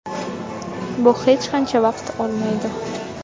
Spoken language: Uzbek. Bu hech qancha vaqt olmaydi.